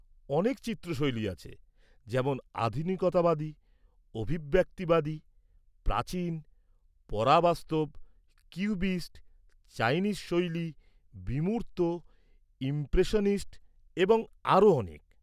-অনেক চিত্র শৈলী আছে, যেমন আধুনিকতাবাদী, অভিব্যক্তিবাদী, প্রাচীন, পরাবাস্তব, কিউবিস্ট, চাইনিজ শৈলী, বিমূর্ত, ইমপ্রেশনিস্ট এবং আরও অনেক।